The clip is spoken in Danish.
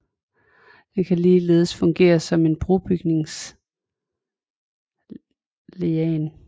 Den kan ligeledes fungere som en brobygningsligand